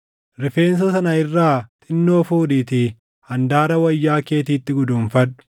Rifeensa sana irraa xinnoo fuudhiitii handaara wayyaa keetiitti guduunfadhu.